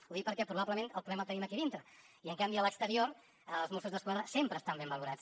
ho dic perquè probablement el problema el tenim aquí dintre i en canvi a l’exterior els mossos d’esquadra sempre estan ben valorats